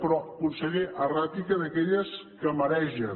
però conseller erràtica d’aquelles que maregen